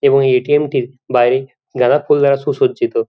এবং এই এ.টি.এম. -টির বাইরে গাঁদা ফুল দ্বারা সুসজ্জিত।